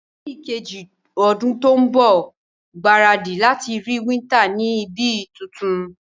Ní kejì odún to n bò, gbáradì láti rí winter ni ibi tuntun